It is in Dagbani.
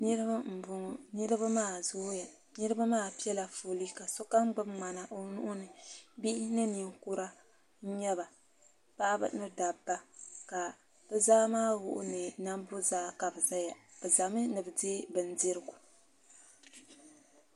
Niriba n bɔŋɔ niriba maa zooya niriba maa pɛla foolee ka sokam gbubi mŋana o nuu ni bihi ni ninkura nyɛba paɣiba ni dabba ka bi za maa wuhi ni nambo zaa kabi zaya bi zami ni bi diɛ bindirigu.